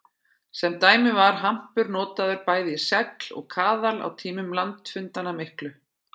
Sem dæmi var hampur notaður bæði í segl og kaðla á tímum landafundanna miklu.